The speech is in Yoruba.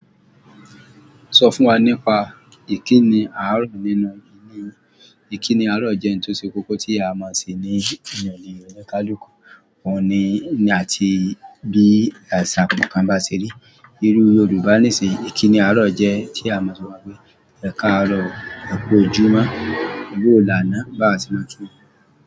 Sọ fún wa nípa ìkíni àárọ̀ nínú ìle yin. Ìkíni àárọ̀ jẹ́ ohun tó ṣe kókó tí a máa ń ṣe ní ile onikaluku. Òhun ni àti bí àṣà kankan bá ṣe rí. Irú Yorùbá níṣìí, ìkíni àárọ̀ jẹ́ tí a ma so wípé "Ẹ káàárọ̀, ẹ kú ojúmọ́, ẹ bawo lànà báa ti máa kí wọn."